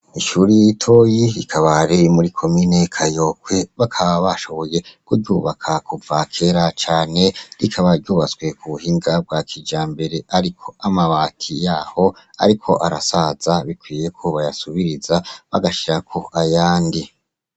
Ishure ritoyi rikaba riri muri komine Kayokwe bakaba bashoboye kuryubaka kuva kera cane rikaba ryubatswe ku buhinga bwa kijambere ariko amabati yaho ariko arasaza bikwiye ko bayasubiriza, bagashirako ayandi.